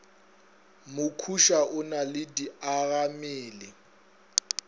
mokhuša o na le diagammele